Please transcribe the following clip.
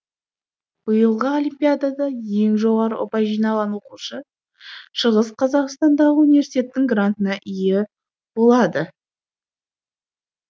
биылғы олимпиадада ең жоғары ұпай жинаған оқушы шығыс қазақстандағы университеттің грантына ие болады